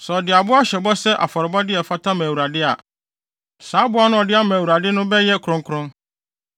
“ ‘Sɛ ɔde aboa hyɛ bɔ sɛ afɔrebɔde a ɛfata ma Awurade a, saa aboa no a ɔde ama Awurade no bɛyɛ kronkron.